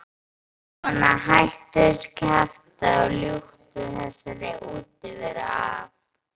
Svona, hættu þessu kjaftæði og ljúktu þessari útiveru af.